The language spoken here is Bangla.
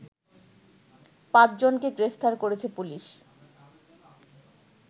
পাঁচজনকে গ্রেপ্তার করেছে পুলিশ